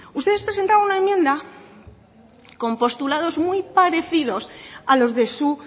ustedes presentaron una enmienda con postulados muy parecidos a los de su